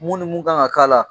Mun ni mun kan ka k'a la